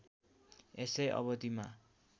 यसै अवधिमा